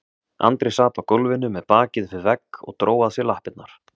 Andri sat á gólfinu með bakið upp við vegg og dró að sér lappirnar.